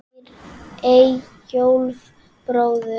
Eyjólf bróður.